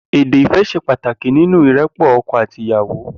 Édé ifẹ̀ ṣè pàtáki ninú irèpọ̀ ọkọ àtí ìyàwó